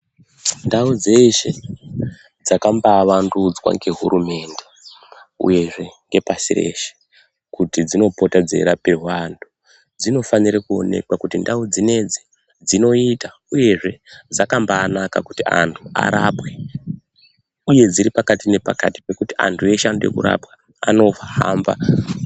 Ndau dzeshe dzakambaavandudzwa ngehurumende uyezve ngepasi reshe kuti dzinopota dzeirapirwa antu dzinofanire kuonekwa kuti ndau dzinedzi dzinoita uyezve dzakambaanaka kuti antu arapwe. Uye dziripakati-nepakati pekuti antu eshe anode kurapwa, anohamba.